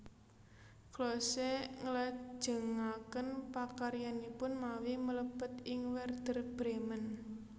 Klose nglajengaken pakaryanipun mawi mlebet ing Wèrder Brèmen